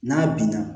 N'a binna